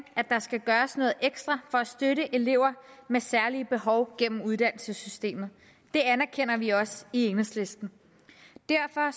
at der skal gøres noget ekstra for at støtte elever med særlige behov gennem uddannelsessystemet det anerkender vi også i enhedslisten derfor